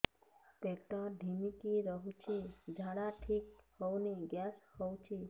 ପେଟ ଢିମିକି ରହୁଛି ଝାଡା ଠିକ୍ ହଉନି ଗ୍ୟାସ ହଉଚି